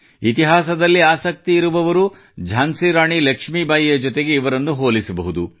ಇತಿಹಾಸದಲ್ಲಿ ಆಸಕ್ತಿ ಇರುವವರು ಝಾನ್ಸಿ ರಾಣಿ ಲಕ್ಷ್ಮೀಬಾಯಿಯ ಜತೆಗೆ ಇವರನ್ನೂ ಹೋಲಿಸಬಹುದು